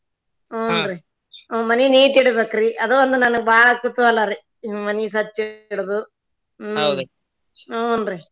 ಹುನ್ರೀ ಅ ಮನಿ neat ಇಡಬೇಕ್ರಿ ಅದ್ ಒಂದ್ ನನಗ್ ಬಾಳ ಕುತೂಹಲಾರಿ ಮನಿ ಸ್ವಚ್ಛ ಇಡೋದು ಹುನ್ರೀ